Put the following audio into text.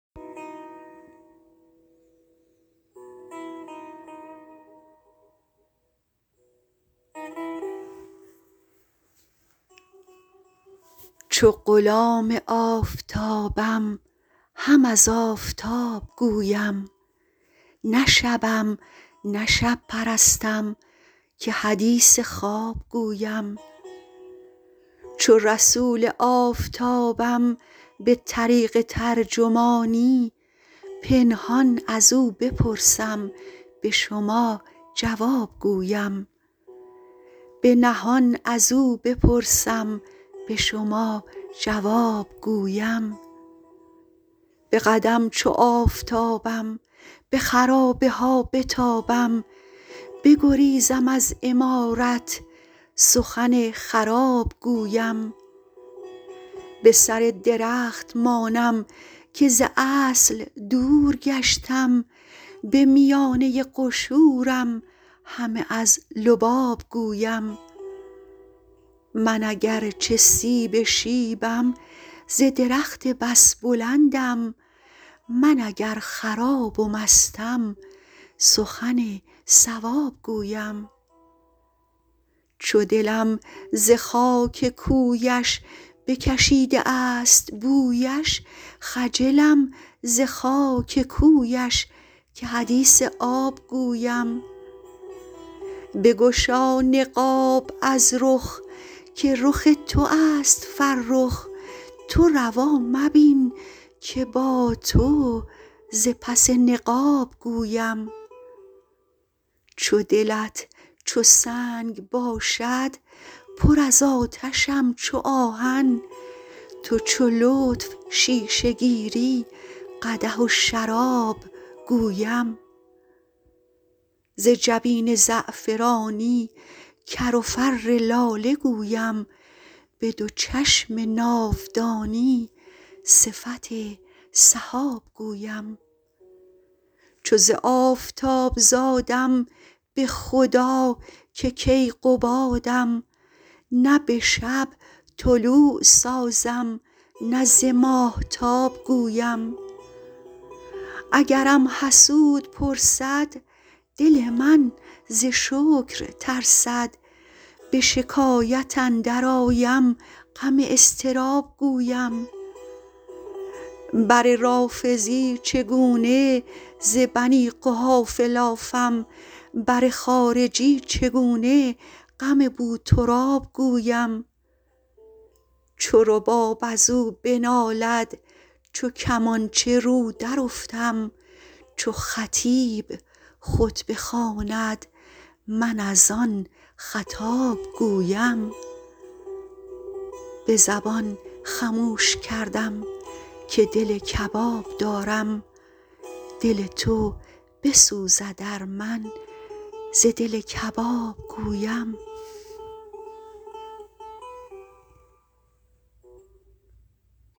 چو غلام آفتابم هم از آفتاب گویم نه شبم نه شب پرستم که حدیث خواب گویم چو رسول آفتابم به طریق ترجمانی به نهان از او بپرسم به شما جواب گویم به قدم چو آفتابم به خرابه ها بتابم بگریزم از عمارت سخن خراب گویم به سر درخت مانم که ز اصل دور گشتم به میانه قشورم همه از لباب گویم من اگر چه سیب شیبم ز درخت بس بلندم من اگر خراب و مستم سخن صواب گویم چو دلم ز خاک کویش بکشیده است بویش خجلم ز خاک کویش که حدیث آب گویم بگشا نقاب از رخ که رخ تو است فرخ تو روا مبین که با تو ز پس نقاب گویم چو دلت چو سنگ باشد پر از آتشم چو آهن تو چو لطف شیشه گیری قدح و شراب گویم ز جبین زعفرانی کر و فر لاله گویم به دو چشم ناودانی صفت سحاب گویم چو ز آفتاب زادم به خدا که کیقبادم نه به شب طلوع سازم نه ز ماهتاب گویم اگرم حسود پرسد دل من ز شکر ترسد به شکایت اندرآیم غم اضطراب گویم بر رافضی چگونه ز بنی قحافه لافم بر خارجی چگونه غم بوتراب گویم چو رباب از او بنالد چو کمانچه رو درافتم چو خطیب خطبه خواند من از آن خطاب گویم به زبان خموش کردم که دل کباب دارم دل تو بسوزد ار من ز دل کباب گویم